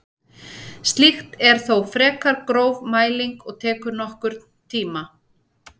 Slíkt er þó frekar gróf mæling og tekur nokkurn tíma.